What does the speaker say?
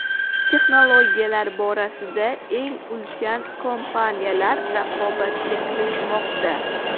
Texnologiyalar borasida eng ulkan kompaniyalar raqobatga kirishmoqda.